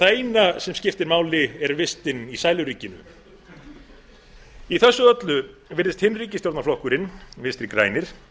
það eina sem skiptir máli er vistin í sæluríkinu í þessu öllu virðist hinn flokkurinn vinstri grænir